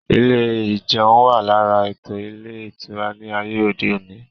Ilé ìjeun wà lára ètò ilé ìtura ní ayé òde òní